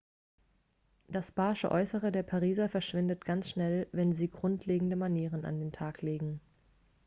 das barsche äußere der pariser verschwindet ganz schnell wenn sie grundlegende manieren an den tag legen